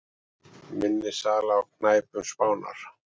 Minni sala á knæpum Spánar